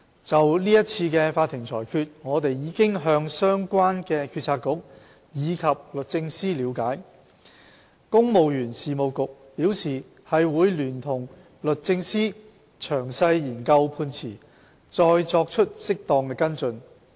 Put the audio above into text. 就是次法庭的裁決，我們已向相關的政策局及律政司了解，公務員事務局表示會聯同律政司詳細研究判詞，再作出適當的跟進。